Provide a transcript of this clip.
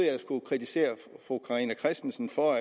jeg skulle kritisere fru carina christensen for